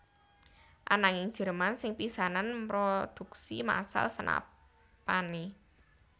Ananging Jerman sing pisanan mrodhuksi masal senapané